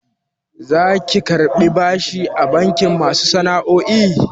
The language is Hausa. Zaki karɓi bashi a bankin masu sana'o'i?